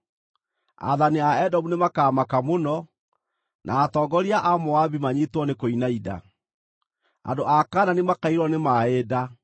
Aathani a Edomu nĩmakamaka mũno, na atongoria a Moabi manyiitwo nĩ kũinaina, andũ a Kaanani makaiyũrwo nĩ maaĩ nda;